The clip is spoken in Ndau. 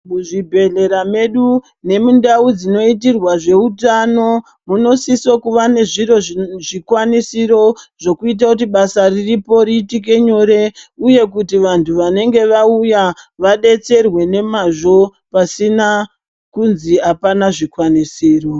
Muzvibhedhlera medu nemundau dzinoitirwa zveutano, munosiso kuva nezviro zvikwanisiro zvokuite kuti basa riripo riitike nyore, uye kuti vantu vanenge vauya, vadetserwe nemazvo, pasina kunzi apana zvikwanisiro.